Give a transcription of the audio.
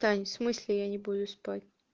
в смысле я не буду спать